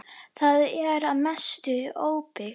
Það er að mestu óbyggt.